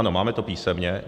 Ano, máme to písemně.